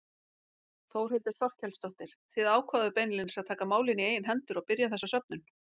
Þórhildur Þorkelsdóttir: Þið ákváðuð beinlínis að taka málin í eigin hendur og byrja þessa söfnun?